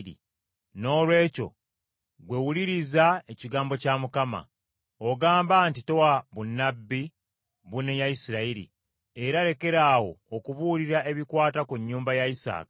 Noolwekyo ggwe wuliriza ekigambo kya Mukama . Ogamba nti, “ ‘Towa bunnabbi bunenya Isirayiri, era lekaraawo okubuulira ebikwata ku nnyumba ya Isaaka.’